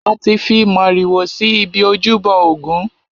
A ti fi màrìwò si ibi ojúbọ ògún.